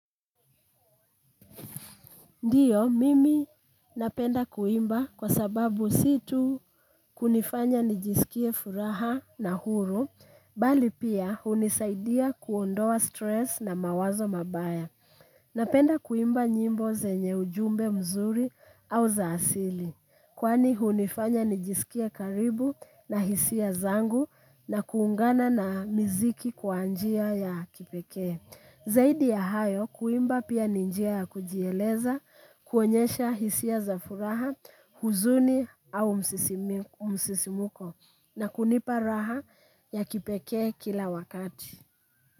Ndiyo, mimi napenda kuimba kwa sababu si tu kunifanya nijisikie furaha na huru, bali pia hunisaidia kuondoa stress na mawazo mabaya. Napenda kuimba nyimbo zenye ujumbe mzuri au za asili. Kwani hunifanya nijisikie karibu na hisia zangu na kuungana na miziki kwa njia ya kipekee zaidi ya hayo, kuimba pia ni njia ya kujieleza, kuonyesha hisia za furaha, huzuni au msisimko na kunipa raha ya kipekee kila wakati.